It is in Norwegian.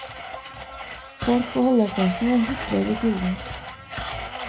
Folk på holdeplassen hutrer i kulden.